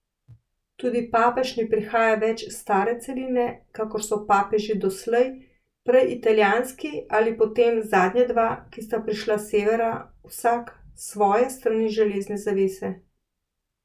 Tudi papež ne prihaja več s stare celine, kakor so papeži doslej, prej italijanski ali potem zadnja dva, ki sta prišla s severa, vsak s svoje strani železne zavese.